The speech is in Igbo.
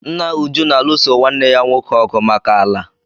Nna Uju na-alụso nwanne ya nwoke ọgụ maka ala.